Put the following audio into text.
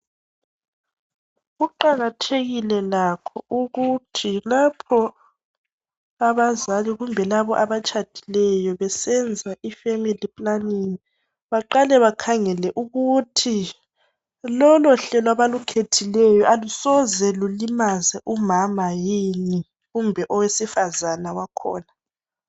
Kuqakathekile lakho ukuthi lapho abazali kumbe labo abatshadileyo besenza ifamily planning baqale bakhangele ukuthi lolo hlelo abalukhethileyo alusoze lulimaze umama yini kumbe owesifazana wakhona.